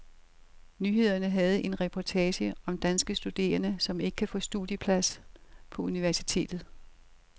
Nyhederne havde en reportage om danske studerende, som ikke kan få studiepladser på universitetet.